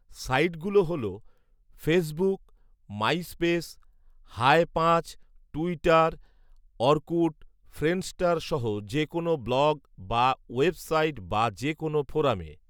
site গুলো হল, Facebook, MySpace, hi পাঁচ, টুইটার, অরকুট, ফ্রেন্ডষ্টার সহ যে কোন ব্লগ বা ওয়েব সাইট বা যে কোন ফোরামে